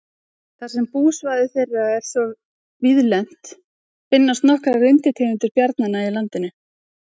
Þar sem búsvæði þeirra er svo víðlent finnast nokkrar undirtegundir bjarnanna í landinu.